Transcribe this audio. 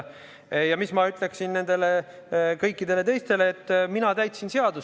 Ja ma ütlesin juba kõikidele teistele, et mina täitsin seadust.